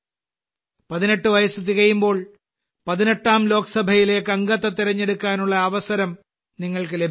18 വയസ്സ് തികയുമ്പോൾ 18ാം ലോക്സഭയിലേക്ക് അംഗത്തെ തിരഞ്ഞെടുക്കാനുള്ള അവസരം നിങ്ങൾക്ക് ലഭിക്കുന്നു